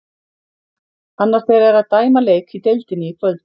Annar þeirra er að dæma leik í deildinni í kvöld.